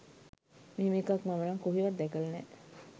මෙහෙම එකක් මම නම් කොහෙවත් දැකල නෑ